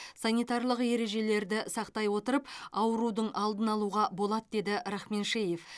санитарлық ережелерді сақтай отырып аурудың алдын алуға болады деді рахменшеев